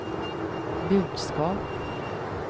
budskap